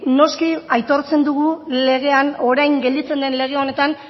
noski aitortzen dugu legean orain gelditzen den lege honetan